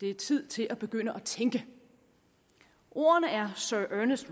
er tid til at begynde at tænke ordene er sir ernest